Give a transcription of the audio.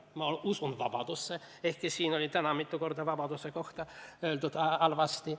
Ma usun vabadusse, ehkki täna siin mitu korda vabaduse kohta halvasti öeldi.